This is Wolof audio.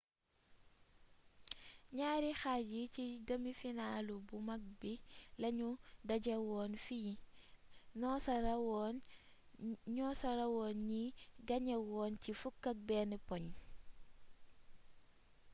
ñaari xaaj yi ci demi finaalu bu mag bi lañu dajewoon fi noosa rawoon ñi gañewoon ci 11 poñ